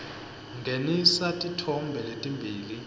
ngenisa titfombe letimbili